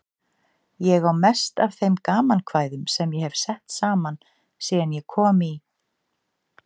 Ég á mest af þeim gamankvæðum sem ég hef sett saman síðan ég kom í